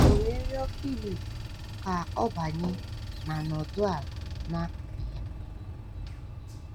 O we rịọ Filip ka ọ banye ma nọdụ̀ ala n’akụkụ ya.”